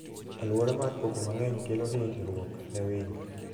Aluora mar koko mang'eny kelo hinyruok ne winy.